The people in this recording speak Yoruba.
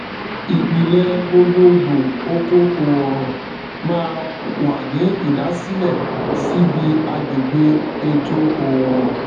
ìpìlẹ gbogbogbò oko oòrùn máa wà ní ìdásílẹ síbi agbègbè ètò oòrùn